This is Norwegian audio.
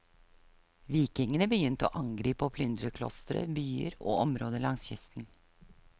Vikingene begynte å angripe og plyndre klostre, byer, og områder langs kysten.